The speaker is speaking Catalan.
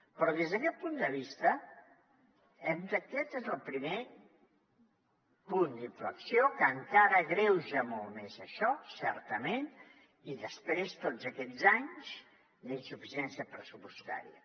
però des d’aquest punt de vista aquest és el primer punt d’inflexió que encara agreuja molt més això certament i després tots aquests anys d’insuficiència pressupostària